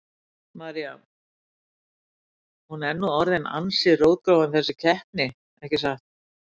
María: Hún er nú orðin ansi rótgróin þessi keppni, ekki satt?